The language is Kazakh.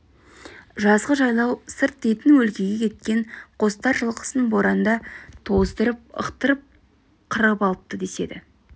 жазғы жайлау сырт дейтін өлкеге кеткен қостар жылқысын боранда тоздырып ықтырып қырып алыпты деседі